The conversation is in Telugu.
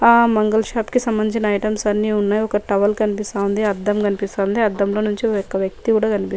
ఆ మంగళ షాప్ కి సంబంధించిన ఐటమ్స్ అన్ని ఉన్నాయ్ ఒక టవల్ కనిపిస్తా ఉంది అద్దం కనిపిస్థాన్ది అద్దం లో నుంచి ఒక వ్యక్తి కూడా కనిపి--